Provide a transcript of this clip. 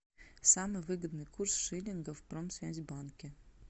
самый выгодный курс шиллинга в промсвязьбанке